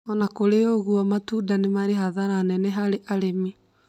Ona kũrĩĩ oũguo matunda nĩmarĩ hathara nene harĩ arĩmi